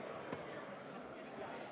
Istung on lõppenud.